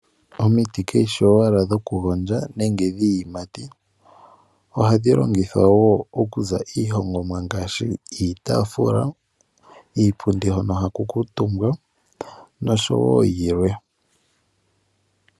Omiti kadhishi owala dhokugondjwa nenge dhiiyimati ohadhi hongwa wo iihongomwa ngaashi iipundi niitaafula. Iipundi hono haku kuutumba oshowo yilwe .